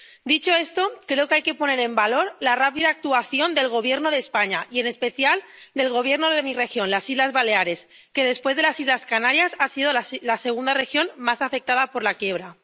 Dicho esto, creo que hay que poner en valor la rápida actuación del Gobierno de España y en especial del Gobierno de mi región, las Islas Baleares, que, después de las Islas Canarias, ha sido la segunda región más afectada por la quiebra.